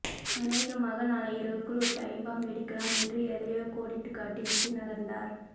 அனேகமாக நாளை இரவுக்குள் ஒரு டைம்பாம் வெடிக்கலாம் என்று எதையோ கோடிட்டுக் காட்டி விட்டு நகர்ந்தார்